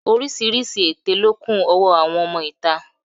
Oríṣiríṣi èté ló kún ọwọ́ àwọn ọmọ ìta